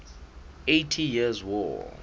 eighty years war